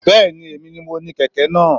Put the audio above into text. Bẹ́ẹ̀ni, èmi ni mo ní kẹ̀kẹ́ náà.